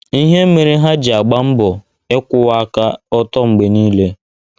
Ihe Mere Ha Ji Agba Mbọ Ịkwụwa Aka Ọtọ Mgbe Niile